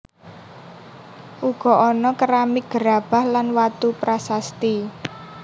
Uga ana keramik gerabah lan watu prasasti